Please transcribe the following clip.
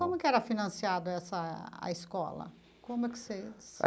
Como que era financiada essa a escola como é que